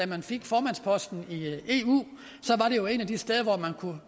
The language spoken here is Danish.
man fik formandsposten i eu